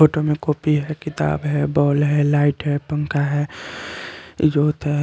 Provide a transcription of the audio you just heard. Photo में copy है किताब है बॉल है लाइट है पंखा है वोध है ।